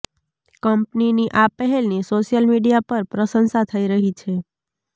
કંપનીની આ પહેલની સોશિયલ મીડિયા પર પ્રશંસા થઇ રહી છે